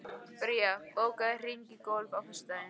Bría, bókaðu hring í golf á föstudaginn.